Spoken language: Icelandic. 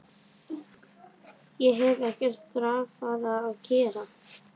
Ég hef ekkert þarfara að gera.